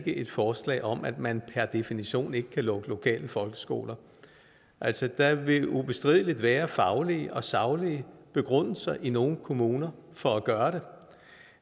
et forslag om at man per definition ikke kan lukke lokale folkeskoler altså der vil ubestrideligt være faglige og saglige begrundelser i nogle kommuner for at gøre det